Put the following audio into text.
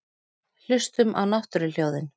Hlustum á náttúruhljóðin.